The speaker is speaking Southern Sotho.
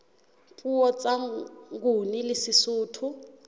puo tsa nguni le sesotho